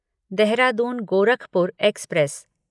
Dehradun Gorakhpur express